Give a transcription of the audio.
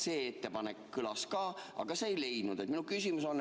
See ettepanek kõlas ka, aga see ei leidnud.